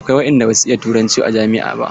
Akwai waɗanda ba su iya turanci a jami'a ba.